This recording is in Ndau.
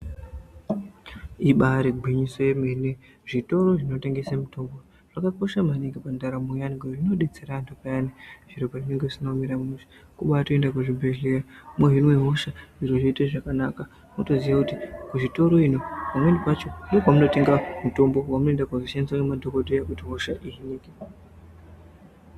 Ibari gwinyiso yemene zvitoro zvinotengese mitombo zvakakosha maningi pandaramo yevantu. Ngekuti zvinobetsera antu payani zviro pazvinenge zvisina kumira mushe. Kubatoenda kuzvibhedhlera mohinwa hosha zviro zvoite zvakanaka. Motoziya kuti kuzvitoro iyi pamweni kwacho ndopamunotenga mitombo vamunoenda koshandiswa ngemadhogodheya kuti hosha iyi ihinike.